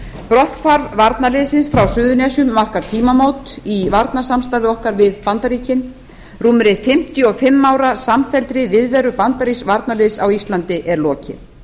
brotthvarf varnarliðsins frá suðurnesjum markar tímamót í varnarsamstarfi okkar við bandaríkin rúmri fimmtíu og fimm ára samfelldri viðveru bandarísks varnarliðs á íslandi er lokið